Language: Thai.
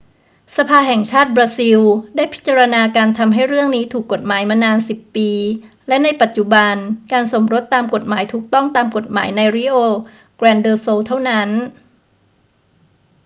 สภาแห่งชาติบราซิลได้พิจารณาการทำให้เรื่องนี้ถูกกฎหมายมานาน 10 ปี และในปัจจุบันการสมรสตามกฎหมายถูกต้องตามกฎหมายใน rio grande do sul เท่านั้น